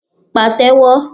pa té wọ